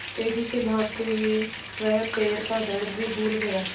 तेज़ी से भागते हुए वह पैर का दर्द भी भूल गया